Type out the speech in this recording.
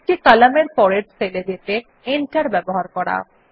একটি কলামের পরের সেল এ যেতে Enter ব্যবহার করা